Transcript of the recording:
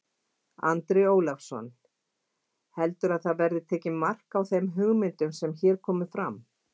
Andri Ólafsson: Heldurðu að það verði tekið mark á þeim hugmyndum sem hér komu fram?